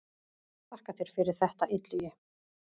Þakka þér fyrir þetta Illugi.